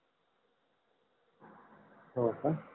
होका